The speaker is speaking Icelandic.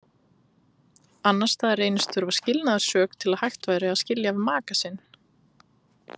Annars staðar reynist þurfa skilnaðarsök til að hægt væri að skilja við maka sinn.